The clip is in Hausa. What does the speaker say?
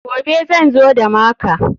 Gobe zan zo da maka.